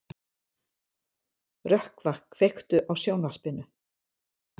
Rökkva, kveiktu á sjónvarpinu.